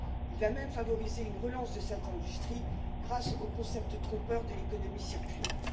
Il va même favoriser une relance de cette industrie grâce au concept trompeur de l'économie circulaire.